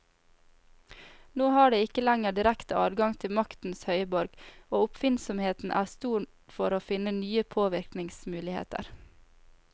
Nå har de ikke lenger direkte adgang til maktens høyborg, og oppfinnsomheten er stor for å finne nye påvirkningsmuligheter.